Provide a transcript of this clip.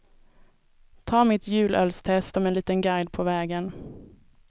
Ta mitt julölstest som en liten guide på vägen.